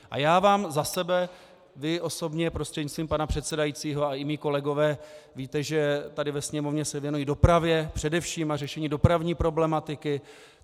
A já vám za sebe - vy osobně, prostřednictvím pana předsedajícího, a i mí kolegové víte, že tady ve Sněmovně se věnuji dopravě především a řešení dopravní problematiky.